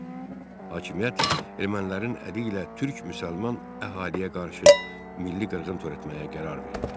Hakimiyyət ermənilərin əli ilə türk müsəlman əhaliyə qarşı milli qırğın törətməyə qərar verdi.